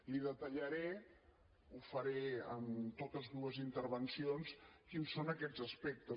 li detallaré ho faré en totes dues intervencions quins són aquests aspectes